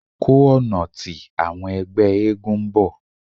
Ko ọna ti awọn ẹgbẹ eégún n bọ